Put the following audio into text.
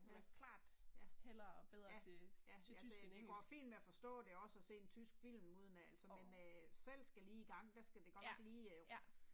Ja, ja, ja ja, ja det det går fint med at forstå det også og se en tysk film uden at altså men æh selv skal lige i gang der skal det godt nok lige æh